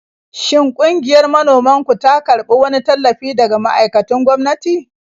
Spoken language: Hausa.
Shin ƙungiyar manoman ku ta karbi wani tallafi daga ma'aikatun gwamnati?